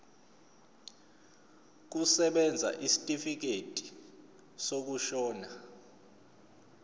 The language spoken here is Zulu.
kusebenza isitifikedi sokushona